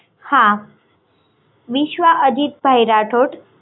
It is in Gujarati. હા વિશ્વા અજિત ભાઈ રાઠોડ